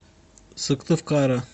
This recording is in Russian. сыктывкара